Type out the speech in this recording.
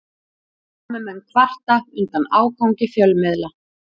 Námumenn kvarta undan ágangi fjölmiðla